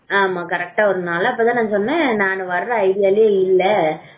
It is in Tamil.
ஆமா கரெக்டா ஒரு நாளு அப்பதான் சொன்னேன் நான் வர்ற idea வில் இல்ல